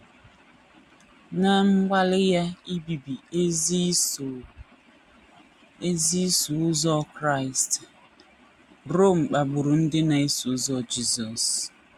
Ná mgbalị ya ibibi ezi Iso ezi Iso Ụzọ Kraịst, Rom kpagburu ndị na - eso ụzọ Jisọs.